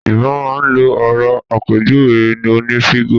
Yorùbá máa n lo òro asàpèjúwe oní fígò